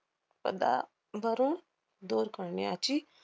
पदावरून दूर करण्याची